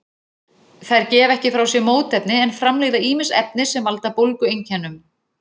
Þær gefa ekki frá sér mótefni en framleiða ýmis efni sem valda bólgueinkennum.